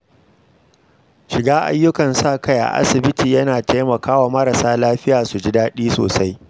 Shiga ayyukan sa-kai a asibiti yana taimaka wa marasa lafiya su ji daɗi sosai.